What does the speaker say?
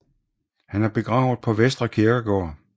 Han er begravet på Vestre Kirkegård